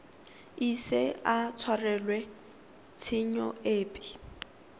ise a tshwarelwe tshenyo epe